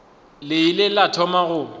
le ile la thoma go